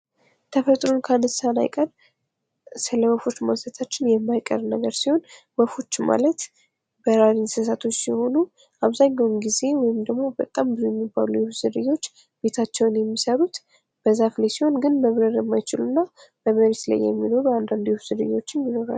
ተፈጥሮን ካነሳን አይቀር ስለወፎች ማንሳታችን የማይቀር ነገር ሲሆን ወፎች ማለት በራሪ እንሰሳቶች ሲሆኑ አብዛኛውን ጊዜ ወይም በጣም ብዙ የሚባለው የወፍ ዝርዮች ቤታቸውን የሚሰሩት በዛፍ ላይ ሲሆን ግን መብረር የማይችሉ እና በመሬት ላይ የሚኖሩ አንዳንድ የወፍ ዝርያዎችም ይኖራሉ።